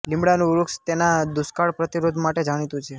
લીમડાનું વૃક્ષ તેના દુષ્કાળ પ્રતિરોધ માટે જાણીતું છે